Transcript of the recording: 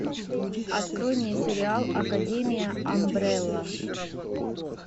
открой мне сериал академия амбрелла